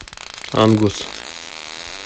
ангус